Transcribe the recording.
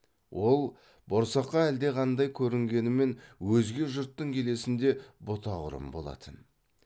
ол борсаққа әлдеқандай көрінгенімен өзге жұрттың келесінде бұта құрым болатын